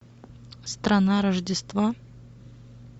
страна рождества